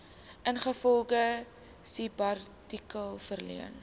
ingevolge subartikel verleen